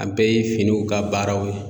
An bɛɛ ye finiw ka baaraw ye.